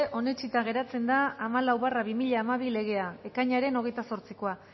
onetsita geratzen da hamalau barra bi mila hamabi legea ekainaren hogeita zortzikoa